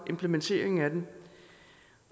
implementeringen af den